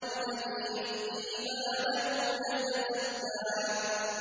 الَّذِي يُؤْتِي مَالَهُ يَتَزَكَّىٰ